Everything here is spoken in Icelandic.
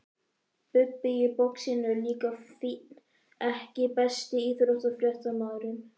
Bubbi í boxinu er líka fínn EKKI besti íþróttafréttamaðurinn?